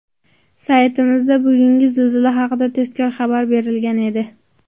Saytimizda bugungi zilzila haqida tezkor xabar berilgan edi.